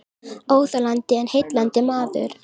Óþolandi en heillandi maður